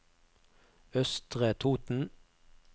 Østre Toten